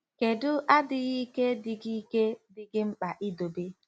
Kedu adịghị ike dị gị ike dị gị mkpa idobe?